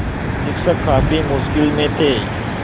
शिक्षक काफ़ी मुश्किल में थे